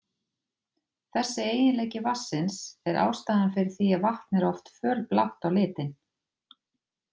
Þessi eiginleiki vatnsins er ástæðan fyrir því að vatn er oft fölblátt á litinn.